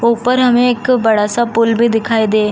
ऊपर हमें एक बड़ा सा पुल भी दिखाई दे --